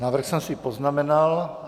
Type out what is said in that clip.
Návrh jsem si poznamenal.